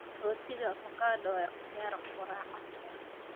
Rootiga avocado waa ikhtiyaar quraac casri ah.